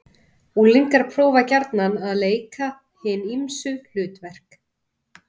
Unglingar prófa gjarnan að leika hin ýmsu hlutverk.